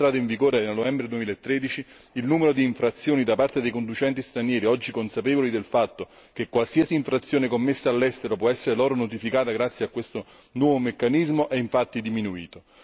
Dalla sua entrata in vigore nel novembre 2013, il numero di infrazioni da parte dei conducenti stranieri, oggi consapevoli del fatto che qualsiasi infrazione commessa all'estero può essere loro notificata grazie a questo nuovo meccanismo, è infatti diminuito.